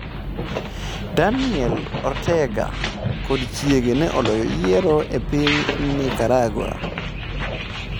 Daniel Ortega kod chiege ne oloyo yiero e piny Nicaragua